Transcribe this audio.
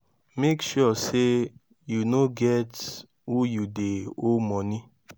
mek sure say yu no get who yu dey owe moni